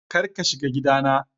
Kar ka shiga gidana!